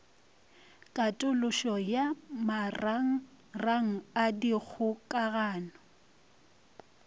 katološo ya marangrang a dikgokagano